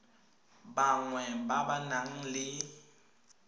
bangwe ba ba nang le